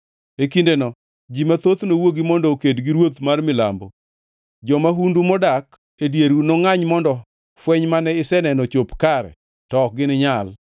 “E kindeno ji mathoth nowuogi mondo oked gi ruoth mar milambo. Jo-mahundu modak e dieru nongʼany mondo fweny mane iseneno ochop kare to ok gininyal.